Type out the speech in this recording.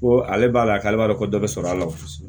Ko ale b'a la k'ale b'a dɔn ko dɔ be sɔrɔ a la kosɛbɛ